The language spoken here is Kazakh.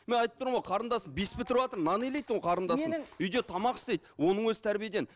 мен айтып тұрмын ғой қарындасым бес бітіріватыр нан илейді қарындасым үйде тамақ істейді оның өзі тәрбиеден